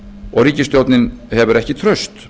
og ríkisstjórnin hefur ekki traust